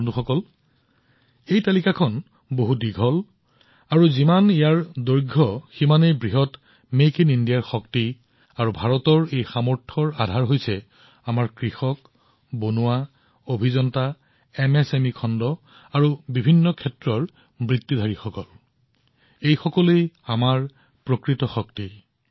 বন্ধুসকল এই তালিকাখন বহু দীঘল আৰু এই তালিকাখন যিমানে দীঘল হয় মেক ইন ইণ্ডিয়াৰ শক্তিও সিমানে অধিক হয় ভাৰতৰ শক্তি যিমানেই অধিক হয় আৰু সেই শক্তিৰ আধাৰ আমাৰ কৃষক আমাৰ শিল্পী আমাৰ শিপিনী আমাৰ অভিযন্তা আমাৰ ক্ষুদ্ৰ উদ্যোগী আমাৰ এমএছএমই খণ্ড বিভিন্ন বৃত্তিৰ বহুতো লোক এই সকলোবোৰেই হল ইয়াৰ প্ৰকৃত শক্তি